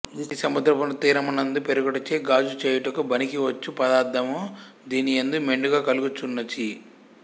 ఇది సముద్ర తీరమునందు పెరుగుటచే గాజు చేయుటకు బనికి వచ్చు పదార్థము దీని యందు మెండుగా కలుగు చున్నచి